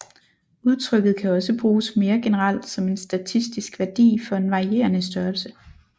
Udtrykket kan også bruges mere generelt som en statistisk værdi for en varierende størrelse